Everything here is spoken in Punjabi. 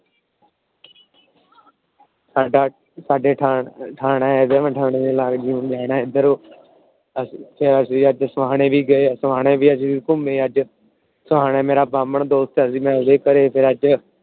ਸਾਡੇ ਠਾਣਾ ਆ। ਠਾਣੇ ਦੇ ਲਾਗੇ ਜਾਣਾ ਏਧਰ। ਅਸੀਂ ਅੱਜ ਠਾਣੇ ਵੀ ਗਏ ਠਾਣੇ ਵੀ ਘੁੰਮੇ ਅੱਜ। ਠਾਣੇ ਮੇਰਾ ਬ੍ਰਾਹਮਣ ਦੋਸਤ ਏ ਜੀ ਮੈ ਓਂਦੇ ਘਰ